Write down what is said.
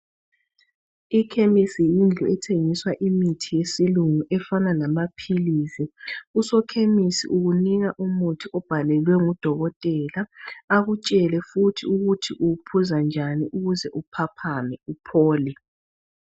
Ikhemisi yindlu ethengiswa imithi yesilungu efana lamaphilisi. Usokhemisi ukunika umuthi owubhalelwe ngudokotela akutshele futhi ukuthi uwuphuza njani ukuze uphaphame uphole.